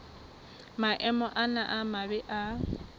maemo ana a mabe a